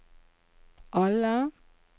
alle